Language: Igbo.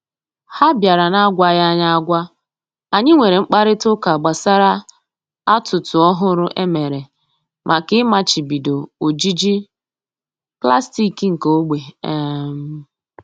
Ha bịara na-agwaghị anyị agwa, anyị nwere mkparịta ụka gbasara atụtụ ọhụrụ e mere maka ịmachibido ojiji pụlastiki nke ogbe um